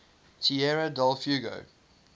tierra del fuego